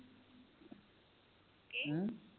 ਕੀ